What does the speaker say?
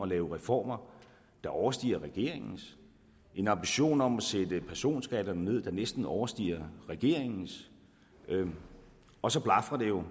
lave reformer der overstiger regeringens en ambition om at sætte personskatterne ned der næsten overstiger regeringens og så blafrer det jo